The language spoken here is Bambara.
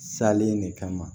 Salen de kama